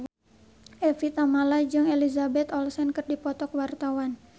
Evie Tamala jeung Elizabeth Olsen keur dipoto ku wartawan